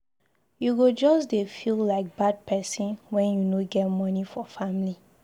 You go just dey feel like bad pesin wen you no get moni for family.